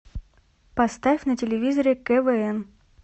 поставь на телевизоре квн